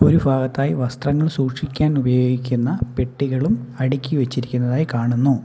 ഈ ഫാഗത്തായി വസ്ത്രങ്ങൾ സൂക്ഷിക്കാൻ ഉപയോഗിക്കുന്ന പെട്ടികളും അടിക്കി വെച്ചിരിക്കുന്നത് ആയി കാണുന്നു.